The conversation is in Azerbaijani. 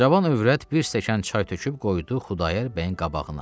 Cavan övrət bir stəkan çay töküb qoydu Xudayar bəyin qabağına.